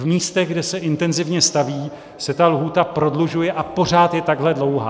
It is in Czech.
V místech, kde se intenzivně staví, se ta lhůta prodlužuje a pořád je takhle dlouhá.